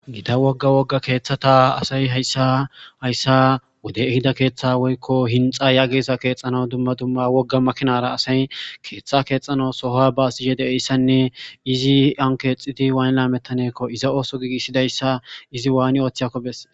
Gita wogga wogga keeththata asay hayssa wodey ehida keeththa woykko hinxxa keexanaw dumma dumma wogga makinara asay keeththa keexxanaw baasishe de'iyayssanne izan keexxidi waani laametanakkonne iza ooso giigisidayssa izi waani ooththiyakko besses.